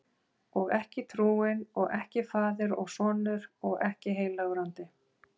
Og ekki trúin, og ekki faðir og sonur, og ekki heilagur andi.